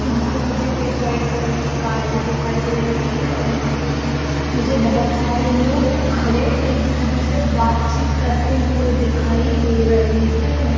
यहाँ पे मुझे एक व्हाइट कलर की कार भी दिखाई दे रही है और यहाँ पे मुझे बहुत सारे लोग खड़े एक दूसरे से बातचित करते हुए दिखाई दे रहे है।